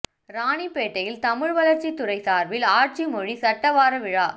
ராணிப்பேட்டையில் தமிழ் வளா்ச்சித் துறை சாா்பில் ஆட்சி மொழி சட்ட வார விழா